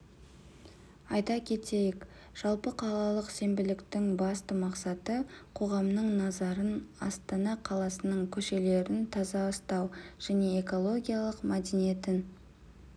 айта кетейік жалпықалалық сенбіліктің басты мақсаты қоғамның назарын астана қаласының көшелерін таза ұстау және экологиялық мәдениетін